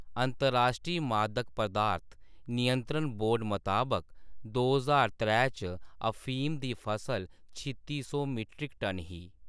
अंतर्राश्ट्री मादक पदार्थ नियंत्रण बोर्ड मताबक दो ज्हार त्रै च अफीम दी फसल छित्ती सौ मीट्रिक टन ही।